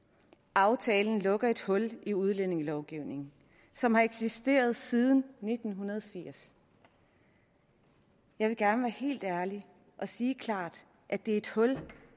aftalen lukker et hul i udlændingelovgivningen som har eksisteret siden nitten firs jeg vil gerne være helt ærlig og sige klart at det er et hul